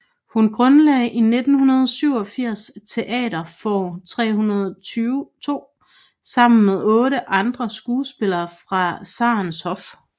Hun grundlagde i 1987 Teater Får302 sammen med 8 andre skuespillere fra Tzarens hof